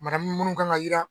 Manamun minnu kan ka yira